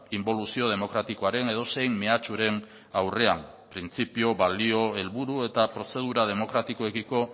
inboluzio demokratikoaren edozein mehatxuren aurrean printzipio balio helburu eta prozedura demokratikoekiko